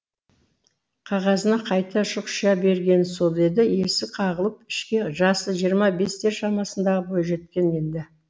қағазына қайта шұқшия бергені сол еді есік қағылып ішке жасы жиырма бестер шамасындағы бойжеткен енді